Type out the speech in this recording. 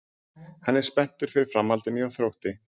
Hann er spenntur fyrir framhaldinu hjá Þrótti.